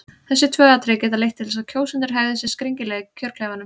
Þessi tvö atriði geta leitt til þess að kjósendur hegði sér skringilega í kjörklefanum.